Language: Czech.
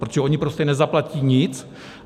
Protože oni prostě nezaplatí nic.